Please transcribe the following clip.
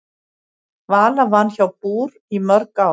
Vala vann hjá BÚR í mörg ár.